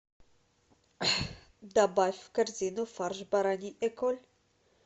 добавь в корзину фарш бараний эколь